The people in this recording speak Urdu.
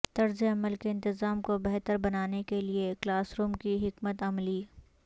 طرز عمل کے انتظام کو بہتر بنانے کے لئے کلاس روم کی حکمت عملی